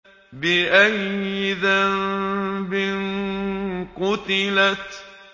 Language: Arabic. بِأَيِّ ذَنبٍ قُتِلَتْ